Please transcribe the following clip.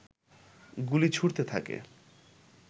গুলি ছুড়তে থাকে